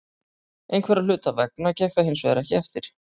Einhverra hluta vegna gekk það hinsvegar ekki eftir.